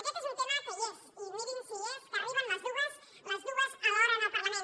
aquest és un tema que hi és i mirin si hi és que arriben les dues alhora al parlament